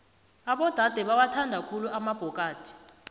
abodade bawathanda khulu amabhokadi